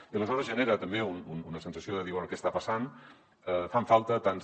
i aleshores es genera també una sensació de dir bé què està passant fan falta tants